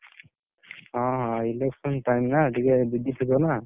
ହଁ election time ନା ଟିକେ busy ଥିବ ନା?